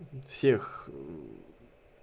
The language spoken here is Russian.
всех